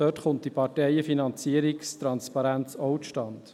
dort kommt die Parteienfinanzierungstransparenz auch zustande.